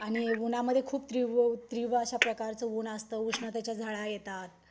आणि उन्हामध्ये खूप तीव्र अशा प्रकारचं ऊन असतं. उष्णतेच्या झळा येतात.